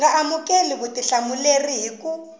nga amukeli vutihlamuleri hi ku